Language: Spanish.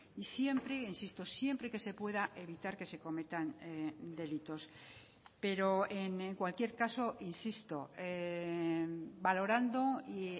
y siempre insisto siempre que se pueda evitar que se cometan delitos pero en cualquier caso insisto valorando y